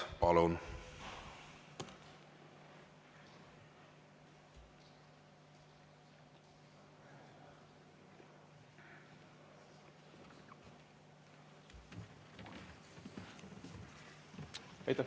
Palun!